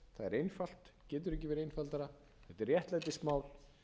einfalt getur ekki verið einfaldara þetta er réttlætismál